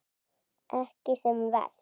Ekki sem verst?